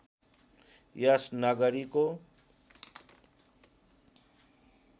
यस नगरीको